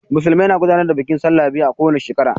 Musulmai na gudanar da bikin sallah guda biyu a ko wane shekara.